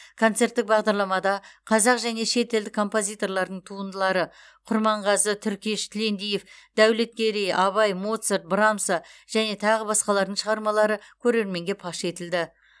концерттік бағдарламада қазақ және шетелдік композиторлардың туындылары құрманғазы түркеш тілендиев дәулеткерей абай моцарт брамса және тағы басқалардың шығармалары көрерменге паш етілді